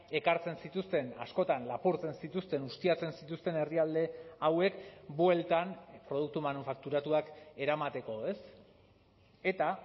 ekartzen zituzten askotan lapurtzen zituzten ustiatzen zituzten herrialde hauek bueltan produktu manufakturatuak eramateko ez eta